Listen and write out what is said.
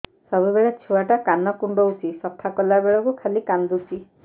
ସବୁବେଳେ ଛୁଆ ଟା କାନ କୁଣ୍ଡଉଚି ସଫା କଲା ବେଳକୁ ଖାଲି କାନ୍ଦୁଚି